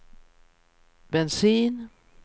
bensin